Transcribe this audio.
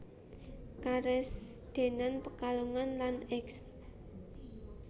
Karesidenan Pekalongan lan Eks